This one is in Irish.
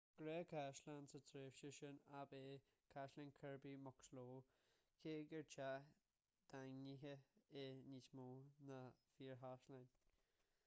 gnáthchaisleán sa tréimhse sin ab ea caisleán kirby muxloe cé gur teach daingnithe é níos mó ná fíorchaisleán